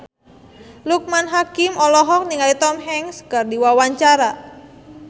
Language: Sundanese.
Loekman Hakim olohok ningali Tom Hanks keur diwawancara